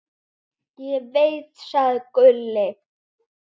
Ég veit, sagði Gulli.